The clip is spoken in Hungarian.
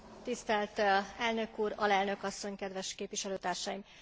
Tisztelt elnök úr, alelnök asszony, kedves képviselőtársaim!